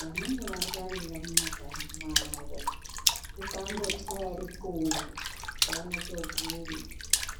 vanenge varwarira mumakanyi mwavo. Ukangochaya ruxunga, vanotoguma.